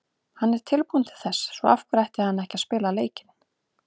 Hann er tilbúinn til þess, svo af hverju ætti hann ekki að spila leikinn?